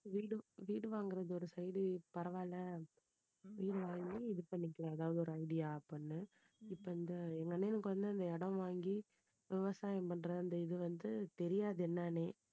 வீடு வீடு வாங்குறது ஒரு side பரவால்ல வீடு வாங்கி இது பண்ணிக்கலாம் எதாவது ஒரு idea அப்படின்னு இப்போ இந்த எங்க அண்ணனுக்கு அந்த இடம் வாங்கி விவசாயம் பண்றது அந்த இது வந்து தெரியாது என்னன்னே